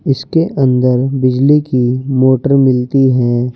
इसके अंदर बिजली की मोटर मिलती है।